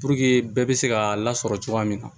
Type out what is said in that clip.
bɛɛ bɛ se ka lasɔrɔ cogoya min na